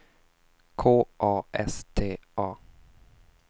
K A S T A